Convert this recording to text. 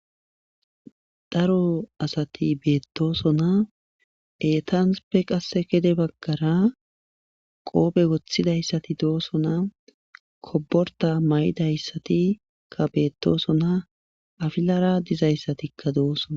Daro asati beetosona eetappe qase gede bagara qoofe wothidaysati doosona koborta maydayssati beetosona afilara diyastoikka doosona.